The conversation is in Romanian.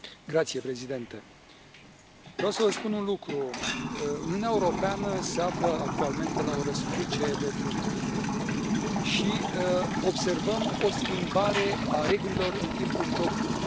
Domnule președinte, vreau să vă spun un lucru Uniunea Europeană se află actualmente la o răscruce de drumuri și observăm o schimbare a regulilor în timpul jocului.